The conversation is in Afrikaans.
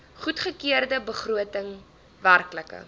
goedgekeurde begroting werklike